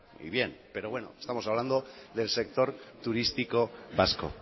y bien pero bueno estamos hablando del sector turístico vasco